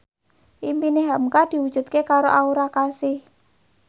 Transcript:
impine hamka diwujudke karo Aura Kasih